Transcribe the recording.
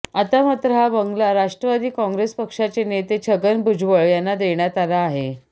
आता मात्र हा बांगला राष्ट्रवादी काँग्रेस पक्षाचे नेते छगन भुजबळ यांना देण्यात आला आहे